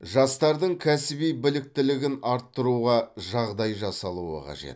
жастардың кәсіби біліктілігін арттыруға жағдай жасалуы қажет